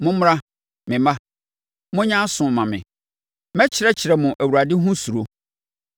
Mommra, me mma, monyɛ aso mma me; mɛkyerɛkyerɛ mo Awurade ho suro.